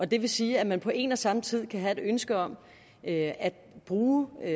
det vil sige at man på en og samme tid kan have et ønske om at bruge og